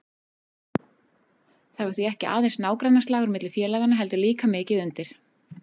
Það var því ekki aðeins nágrannaslagur milli félaganna heldur líka mikið undir.